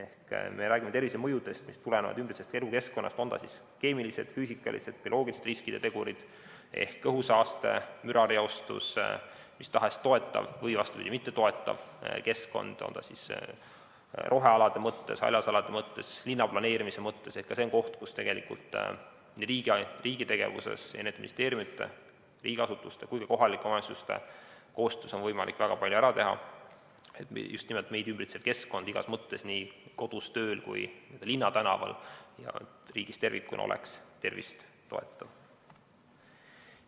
Kui me räägime tervisemõjudest, mis tulenevad elukeskkonnast, on need keemilised, füüsikalised või bioloogilised riskitegurid ehk õhusaaste, mürareostus, mis tahes toetav või mittetoetav keskkond kas rohealade mõttes, haljasalade mõttes, linnaplaneerimise mõttes, siis ka see on koht, kus riigi tegevusega, eri ministeeriumide, riigiasutuste ja kõigi kohalike omavalitsuste koostöös on võimalik väga palju ära teha, et just nimelt keskkond igas mõttes nii kodus, tööl kui ka linnatänaval ja riigis tervikuna oleks tervist toetav.